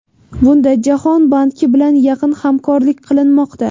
Bunda Jahon banki bilan yaqin hamkorlik qilinmoqda.